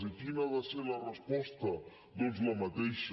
i quina ha de ser la resposta doncs la mateixa